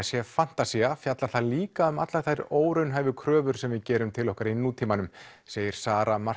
sé fantasía fjallar það líka um allar þær óraunhæfu kröfur sem við gerum til okkar í nútímanum segir Sara